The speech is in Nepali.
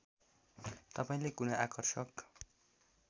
तपाईँले कुनै आकर्षक